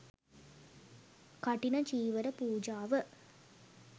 කඨින චීවර පූජාව,